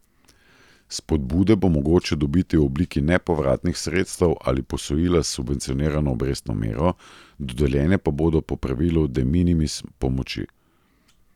Spodbude bo mogoče dobiti v obliki nepovratnih sredstev ali posojila s subvencionirano obrestno mero, dodeljene pa bodo po pravilu de minimis pomoči.